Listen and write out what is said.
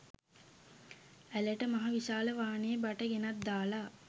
ඇළට මහ විශාල වානෙ බට ගෙනත් දාලා